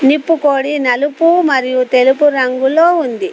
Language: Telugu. నిప్పు కోడి నలుపు మరియు తెలుపు రంగులో ఉంది.